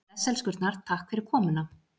Bless elskurnar, takk fyrir komuna.